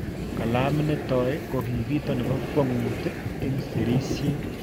Kalamit nitoi kokito nipokwong'ut om serisiet.